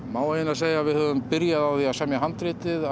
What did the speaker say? má eiginlega segja að við höfum byrjað á því að að semja handritið